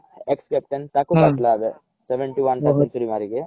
ex-captain ତାକୁ ଏବେ seventy one ଟା century ମାରିକି